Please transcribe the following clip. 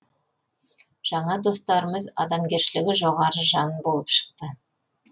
жаңа достарымыз адамгершілігі жоғары жандар болып шықты